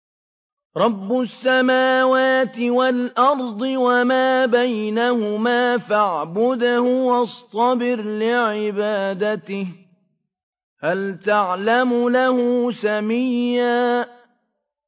رَّبُّ السَّمَاوَاتِ وَالْأَرْضِ وَمَا بَيْنَهُمَا فَاعْبُدْهُ وَاصْطَبِرْ لِعِبَادَتِهِ ۚ هَلْ تَعْلَمُ لَهُ سَمِيًّا